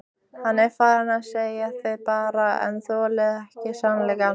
Hann er farinn segið þið bara en þolið ekki sannleikann.